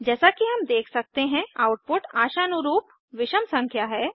जैसा कि हम देख सकते हैं आउटपुट आशानुरूप विषम संख्या है